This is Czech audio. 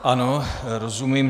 Ano, rozumím.